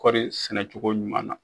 Kɔɔri sɛnɛcogo ɲuman na.